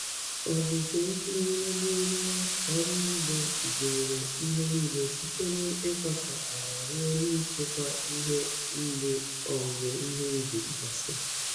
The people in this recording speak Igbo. Ọzụzụ m n'ịrụ n'ịrụ ọrụ ugbo gụnyere ihe niile site n'ịkwasa ala ruo n'ịchịkwa ihe mgbe owuwe ihe ubi gasịrị.